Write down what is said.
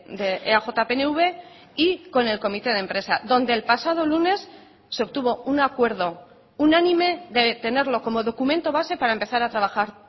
de eaj pnv y con el comité de empresa donde el pasado lunes se obtuvo un acuerdo unánime de tenerlo como documento base para empezar a trabajar